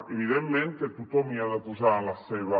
evidentment que tothom hi ha de posar de la seva